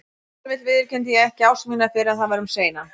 Ef til vill viðurkenndi ég ekki ást mína fyrr en það var um seinan.